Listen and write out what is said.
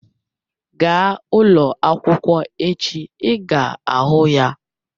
Gaa ụlọ akwụkwọ echi ị ga-ahụ ya